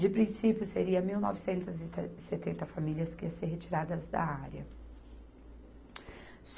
De princípio, seria mil novecentas e se setenta famílias que iam ser retiradas da área.